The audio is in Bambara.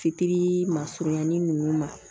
Fitiri ma surunya ni ninnu ma